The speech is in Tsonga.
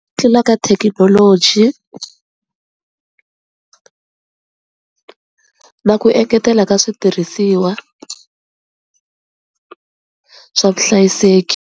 Tlula ka thekinoloji na ku engetela ka switirhisiwa swa vuhlayiseki.